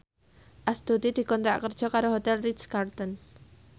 Astuti dikontrak kerja karo Hotel Ritz Carlton